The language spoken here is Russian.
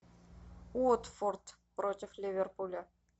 уотфорд против ливерпуля